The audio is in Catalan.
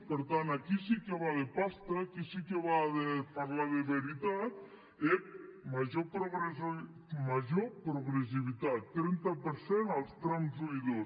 per tant a qui sí que va de pasta a qui sí que va parlar de veritat ep major de progressivitat trenta per cent els trams un i dos